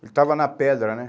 Ele estava na pedra, né?